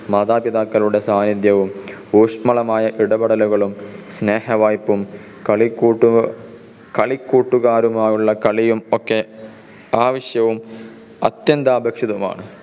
മാതാപിതാക്കളുടെ സാഹചര്യവും ഊഷ്‌മളമായ ഇടപെടലുകളും സ്നേഹവായ്പ്പും കളിക്കൂട്ടുകാരുമായുള്ള കളിയും ഒക്കെ ആവശ്യവും അത്യന്താപേഷിതവുമാണ്.